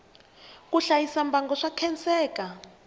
ku hlayisa mbango swa khenseka